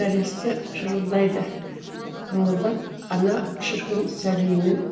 нәресте шырылдайды ыңылдап ана шіркін сәбиімен